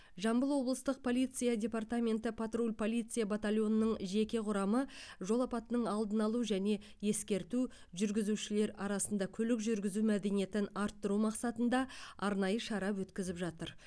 жамбыл облыстық полиция департаменті патруль полиция батальонының жеке құрамы жол апатының алдын алу және ескерту жүргізушілер арасында көлік жүргізу мәдениетін арттыру мақсатында арнайы шара өткізіп жатыр